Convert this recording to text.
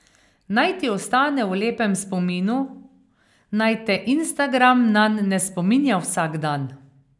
Naj ti ostane v lepem spominu, naj te Instagram nanj ne spominja vsak dan.